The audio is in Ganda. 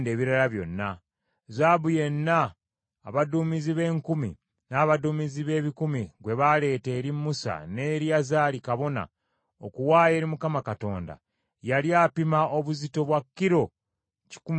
Zaabu yenna abaduumizi b’enkumi, n’abaduumizi b’ebikumi gwe baleeta eri Musa ne Eriyazaali kabona, okuwaayo eri Mukama Katonda, yali apima obuzito bwa kilo kikumi mu kyenda.